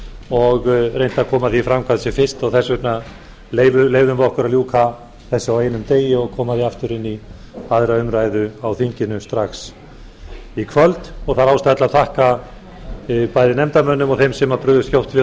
og reynt að koma því í framkvæmd sem fyrst og þess vegna leyfðum við okkur að ljúka þessu á einum degi og koma því aftur inn í annarri umræðu á þinginu strax í kvöld það er ástæða til að þakka bæði nefndarmönnum og þeim sem brugðust skjótt við